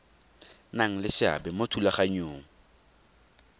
nang le seabe mo thulaganyong